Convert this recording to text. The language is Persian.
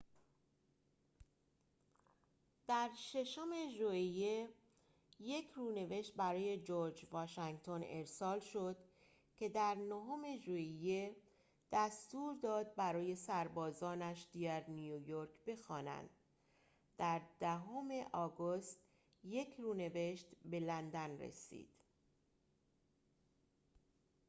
در ششم ژوئیه یک رونوشت برای جرج واشنگتن ارسال شد که در نهم ژوئیه دستور داد برای سربازانش در نیویورک بخوانند در دهم آگوست یک رونوشت به لندن رسید